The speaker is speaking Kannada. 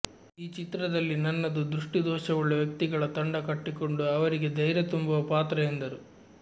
ಈ ಚಿತ್ರದಲ್ಲಿ ನನ್ನದು ದೃಷ್ಟಿದೋಷವುಳ್ಳ ವ್ಯಕ್ತಿಗಳ ತಂಡ ಕಟ್ಟಿಕೊಂಡು ಅವರಿಗೆ ಧೈರ್ಯ ತುಂಬುವ ಪಾತ್ರ ಎಂದರು